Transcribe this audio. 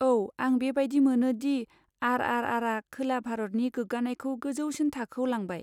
औ, आं बेबायदि मोनो दि आर आर आरआ खोला भारतनि गोग्गानायखौ गोजौसिन थाखोआव लांबाय।